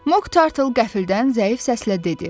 Mok Tartle qəfildən zəif səslə dedi.